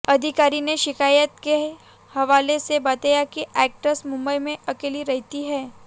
अधिकारी ने शिकायत के हवाले से बताया कि एक्ट्रेस मुंबई में अकेली रहती है